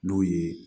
N'o ye